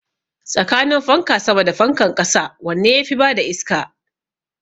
Tsakanin fanka sama da fankan ƙasa wanne yafi bada iska?